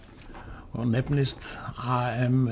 og nefnist